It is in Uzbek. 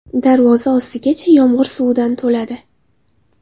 Darvoza ostigacha yomg‘ir suvidan to‘ladi.